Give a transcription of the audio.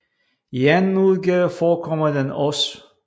I anden udgave forekommer den også